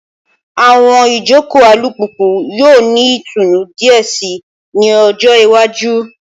Awọn ijoko alupupu yoo ni itunu diẹ sii ni ọjọ iwaju